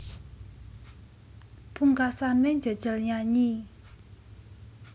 Pungkasané njajal nyanyi